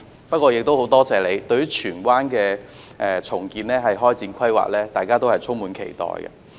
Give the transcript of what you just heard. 不過，我亦很多謝特首對荃灣的重建展開規劃，大家都充滿期待。